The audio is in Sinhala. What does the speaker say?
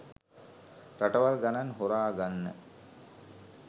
රටවල් ගණන් හොරාගන්න